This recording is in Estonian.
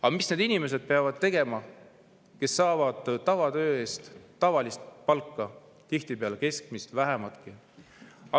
Mida peavad need inimesed tegema, kes saavad oma tavatöö eest tavalist palka, tihtipeale keskmist palka, sellest vähematki?